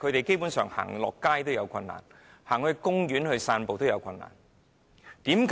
基本上，他們離家到街上或到公園散步也有困難。